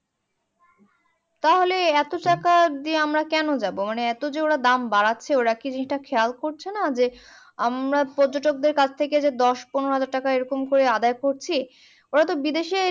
তাহলে ইটা টাকা দিয়ে আমরা কেন যাবো মানে আমরা এতো যে ওরা দাম বাড়াচ্ছে ওরা কি জিনিসটা খেয়াল করছেনা যে আমরা পর্যটকদের কাছ থেকে যে দশ পনেরো হাজার টাকা এরকম করে আদায় করছি ওরা তো বিদেশে